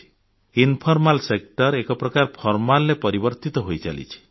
ଅଣାନୁଷ୍ଠାନିକ କ୍ଷେତ୍ର ଏକ ପ୍ରକାର ଆନୁଷ୍ଠାନିକରେ ପରିବର୍ତ୍ତିତ ହୋଇ ଚାଲିଛି